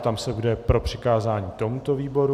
Ptám se, kdo je pro přikázání tomuto výboru.